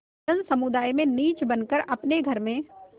जनसमुदाय में नीच बन कर और अपने घर में